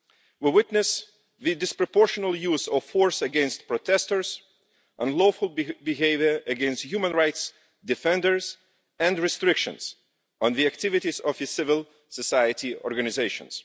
We witness the disproportionate use of force against protesters, unlawful behaviour against human rights defenders and restrictions on the activities of civil society organisations.